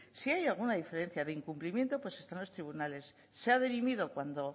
si hay alguna diferencia de incumplimiento pues están tribunales se ha dirimido cuando